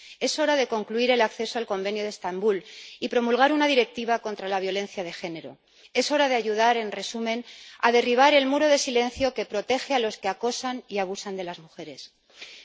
Es hora de concluir la adhesión al Convenio de Estambul y de promulgar una Directiva contra la violencia de género. Es hora de ayudar, en resumen, a derribar el muro de silencio que protege a los que acosan a las mujeres y abusan de ellas.